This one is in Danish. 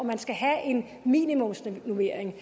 man skal have en minimumsnormering